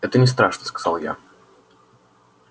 это не страшно сказала я